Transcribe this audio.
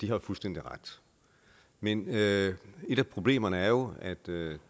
jo fuldstændig ret men et af problemerne er jo at det